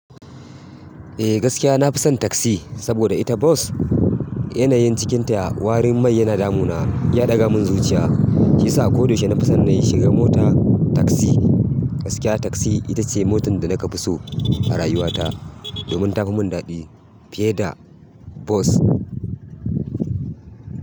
Eh gaskiya na fi son taksi saboda ita bus yanayin cikinta warin mai yana damuna yana ɗaga min zuciya shiyasa a koda yaushe na fi son na yi shiga mota taksi gaskiya taksi ita ce motan da na ka fi so a rayuwata domin ta fi mun daɗi fiye da bus.